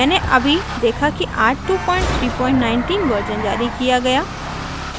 मैंने अभी देखा कि आज 2319 वर्जन जारी किया गया